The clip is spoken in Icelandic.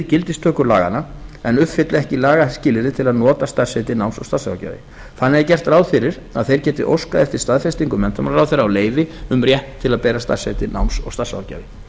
gildistöku laganna en uppfylla ekki lagaskilyrði til að nota starfsheitið náms og starfsráðgjafi þannig er gert ráð fyrir að þeir geti óskað eftir staðfestingu menntamálaráðherra á leyfi um rétt til að bera starfsheitið náms og starfsráðgjafi